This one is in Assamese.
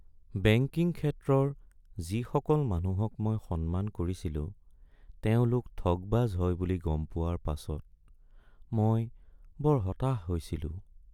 বেংকিং ক্ষেত্ৰৰ যিসকল মানুহক মই সন্মান কৰিছিলো তেওঁলোক ঠগবাজ হয় বুলি গম হোৱাৰ পাছত মই বৰ হতাশ হৈছিলোঁ।